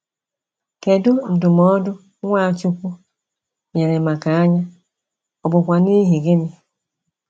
Kedụ ndụmọdụ Nwachukwu nyere maka anya, ọ bụkwa n'ihi gịnị?